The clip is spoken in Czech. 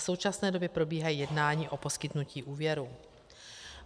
V současné době probíhají jednání o poskytnutí úvěru.